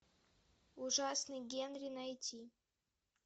ужасный генри найти